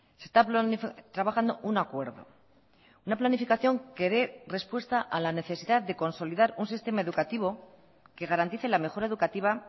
se está trabajando un acuerdo una planificación que dé respuesta a la necesidad de consolidar un sistema educativo que garantice la mejora educativa